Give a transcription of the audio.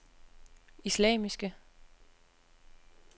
islamiske